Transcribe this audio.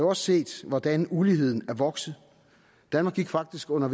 også set hvordan uligheden er vokset danmark gik faktisk under